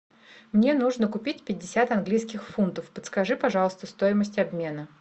мне нужно купить пятьдесят английских фунтов подскажи пожалуйста стоимость обмена